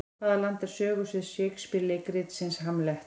Hvaða land er sögusvið Shakespeare leikritsins Hamlet?